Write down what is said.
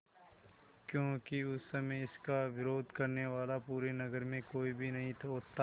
क्योंकि उस समय इसका विरोध करने वाला पूरे नगर में कोई भी नहीं होता